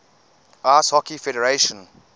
ice hockey federation